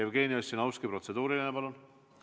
Jevgeni Ossinovski, protseduuriline, palun!